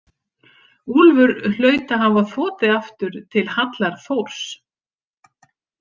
Úlfur hlaut að hafa þotið aftur til hallar Þórs.